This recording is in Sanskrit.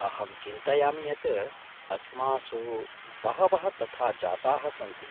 अहं चिन्तयामि यत् अस्मासु बहवः तथा जाताः सन्ति।